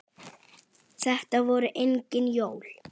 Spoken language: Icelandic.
Þetta voru engin jól.